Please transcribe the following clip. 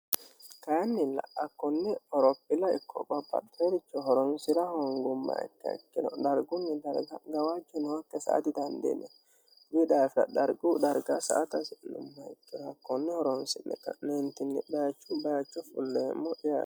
Kayinnilla hakkonne qorophine ikko babbaxeeoricho horonsira hoongummoha ikkiha ikkiro dargunni darga gawajo nookiha sa'a didandiinayi daafira darguyi darga sa'ate hasi'numoha ikkiro hakkonne horoonsi'neentinni bayichuyi bayicho fulleemmo yaate.